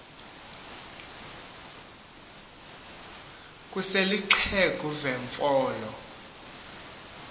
kusel ixheg uvenfolo